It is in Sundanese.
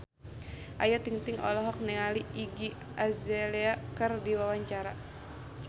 Ayu Ting-ting olohok ningali Iggy Azalea keur diwawancara